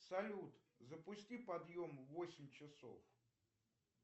салют запусти подъем в восемь часов